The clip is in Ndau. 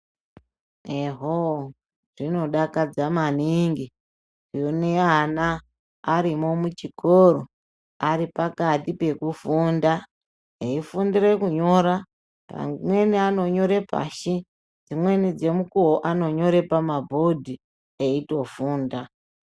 Ehoo, zvinodakadza maningi kuone ana arimwo muchikoro aripo pakati pekufunda eifundire kunyora amweni anonyora pashi , dzimweni dzemukuwo anonyora pabhidhi eitofunda.